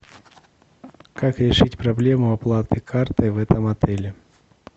как решить проблему оплаты картой в этом отеле